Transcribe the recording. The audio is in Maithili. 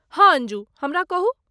हँ अंजू! हमरा कहू।